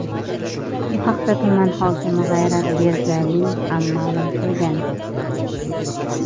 Bu haqda tuman hokimi G‘ayrat Begaliyevga ham ma’lum qilgan.